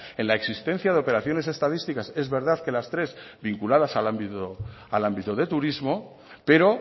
en la existencia de operaciones estadísticas es verdad que las tres vinculadas al ámbito de turismo pero